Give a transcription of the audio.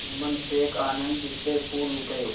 जुम्मन शेख आनंद से फूल उठे